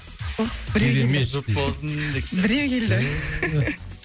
ох біреу келді керемет жұп болсын деп біреу келді